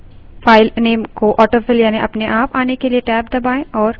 चलिए ऐसा ही head command के साथ करते हैं